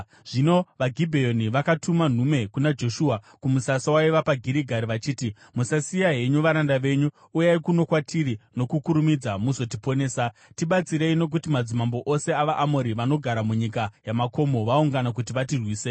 Zvino vaGibheoni vakatuma nhume kuna Joshua kumusasa waiva paGirigari, vachiti, “Musasiya henyu varanda venyu. Uyai kuno kwatiri nokukurumidza muzotiponesa! Tibatsirei, nokuti madzimambo ose avaAmori vanogara munyika yamakomo vaungana kuti vatirwise.”